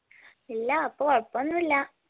ഇല്ലാ അപ്പോ കൊഴപ്പോന്നുല്ല